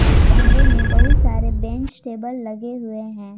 इस कमरे में बहुत सारे बेंच टेबल लगे हुए हैं।